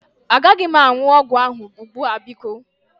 Agaghị m aṅụ ọgwụ ahụ ugbu a biko.